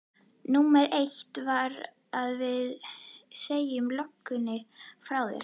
Númer eitt er að við segjum löggan frá þér.